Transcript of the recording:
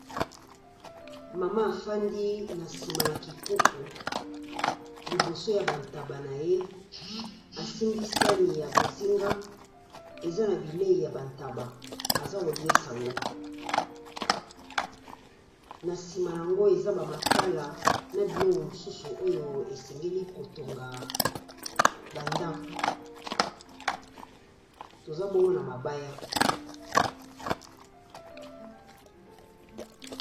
Mama afandi na nsima na kikuku liboso ya ba ntaba na ye, asimbi sani ya bozinga eza na bileyi ya ba ntaba aza koliesa ngo. Na nsima na yango eza ba makala na biloko mosusu oyo esengeli kotonga ba ndako, toza bongo na mabaya.